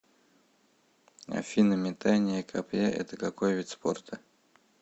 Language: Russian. афина метание копья это какой вид спорта